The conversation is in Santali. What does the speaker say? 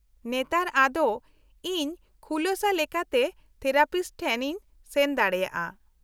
-ᱱᱮᱛᱟᱨ ᱟᱫᱚ ᱤᱧ ᱠᱷᱩᱞᱟᱹᱥᱟ ᱞᱮᱠᱟᱛᱮ ᱛᱷᱮᱨᱟᱯᱤᱥᱴ ᱴᱷᱮᱱ ᱤᱧ ᱥᱮᱱ ᱫᱟᱲᱮᱭᱟᱜᱼᱟ ᱾